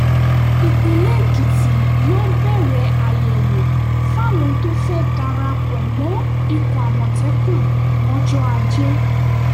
ìpínlẹ̀ èkìtì yóò bẹ̀rẹ̀ àyẹ̀wò fáwọn tó fẹ́ẹ́ darapọ̀ mọ́ ikọ̀ àmọ̀tẹ́kùn lọ́jọ́ ajé